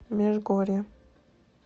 межгорье